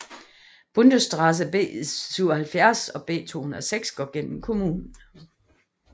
Bundesstraße B77 og B206 går gennem kommunen